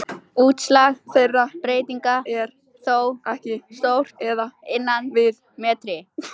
Útslag þeirra breytinga er þó ekki stórt eða innan við metri.